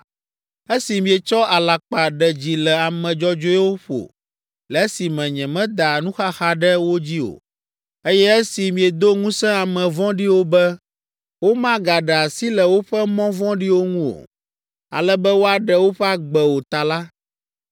Esi mietsɔ alakpa ɖe dzi le ame dzɔdzɔewo ƒo le esime nyemeda nuxaxa ɖe wo dzi o, eye esi miedo ŋusẽ ame vɔ̃ɖiwo be womagaɖe asi le woƒe mɔ vɔ̃ɖiwo ŋu o, ale be woaɖe woƒe agbe o ta la,